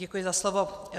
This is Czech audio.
Děkuji za slovo.